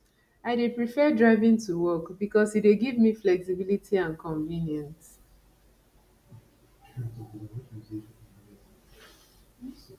i dey prefer driving to work because e dey give me flexibility and convenience